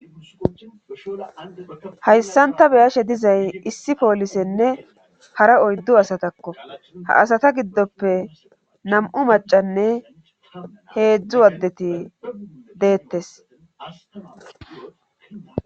hayssanta beyashe dizay issi poolisenne hara oyddu asatakko ha asata giddoppe nam7u macanne heedzdzu waddeti deettes